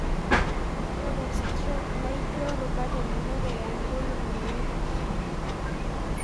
Ore stroke naijo rubat elelek eya ngolongi naikash.